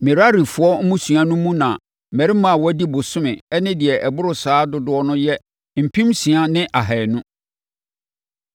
Merarifoɔ mmusua no mu na mmarima a wɔadi bosome ne deɛ ɛboro saa dodoɔ yɛ mpem nsia ne ahanu (6,200).